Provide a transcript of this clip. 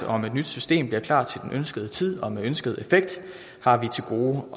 om et nyt system bliver klart til den ønskede tid og med den ønskede effekt har vi til gode